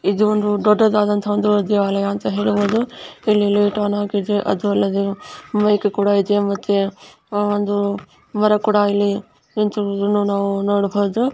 ಇದು ಒಂದು ದೊಡ್ಡದಾದ ದೇವಾಲಯ ಅಂತ ಹೇಳಬಹುದು ಇಡಿ ಅನ್ನು ಹಾಕಿದ್ದಾರೆ ಅದು ಅಲ್ಲದೆ ಮೈಕು ಕೂಡ ಇದೆ ಒಂದು ಮರ ಕೂಡ ಇದೆ ನಿಂತಿರುವುದನ್ನು ನಾವು ನೋಡಬಹುದು.